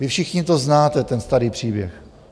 Vy všichni to znáte, ten starý příběh.